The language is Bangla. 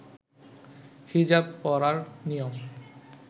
হিজাব পরার নিয়ম